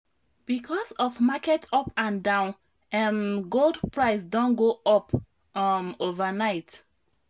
because of market up and down um gold price don go up um overnight.